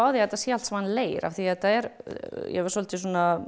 á því að þetta er allt saman leir því þetta er svolítið